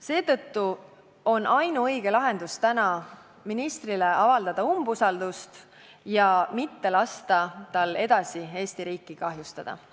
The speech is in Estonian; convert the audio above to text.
Seetõttu on ainuõige lahendus avaldada täna ministrile umbusaldust ja mitte lasta tal edasi Eesti riiki kahjustada.